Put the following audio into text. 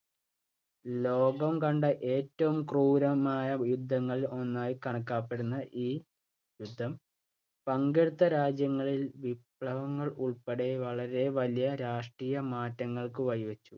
ലോകം കണ്ട ഏറ്റവും ക്രൂരമായ യുദ്ധങ്ങളിൽ ഒന്നായി കണക്കാക്കപ്പെടുന്ന ഈ യുദ്ധം പങ്കെടുത്ത രാജ്യങ്ങളിൽ വിപ്ലവങ്ങൾ ഉൾപ്പെടെ വളരെ വലിയ രാഷ്ട്രീയ മാറ്റങ്ങൾക്ക് വഴിവച്ചു.